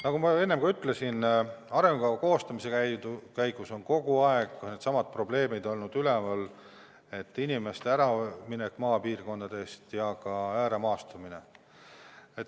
Nagu ma enne ütlesin, arengukava koostamise käigus on kogu aeg needsamad probleemid üleval olnud: inimeste äraminek maapiirkondadest ja ääremaastumine.